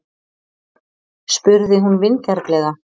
spurði hún vingjarnlega.